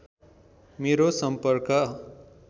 मेरो सम्पर्क